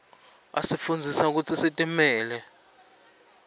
asifundzisa kutsi sitimele